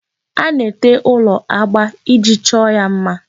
A na-ete ụlọ agba iji chọọ ya mma.